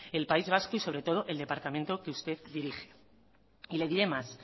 el país vasco y sobre todo el departamento que usted dirige y le diré más